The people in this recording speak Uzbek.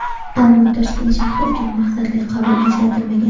Ammo Toshkent shahri uchun maqsadli qabul ajratilmagan.